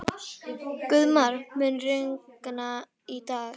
Guðmar, mun rigna í dag?